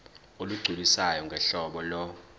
olugculisayo ngohlobo lo